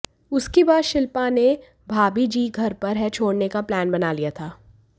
उसकी बाद शिल्पा ने भाबी जी घर पर हैं छोड़ने का प्लान बना लिया था